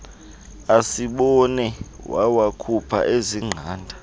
asibone wawakhupha azingqanda